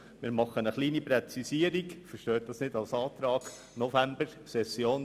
Allerdings machen wir eine kleine Präzisierung, bitten Sie aber, diese nicht als Antrag zu verstehen: